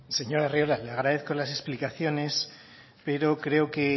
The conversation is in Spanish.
señor arriola le agradezco las explicaciones pero creo que